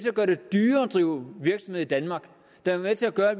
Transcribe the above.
drive virksomhed i danmark der er med til at gøre at